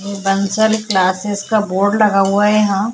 Bansal classes का एक board लगा हुआ है यहाँ--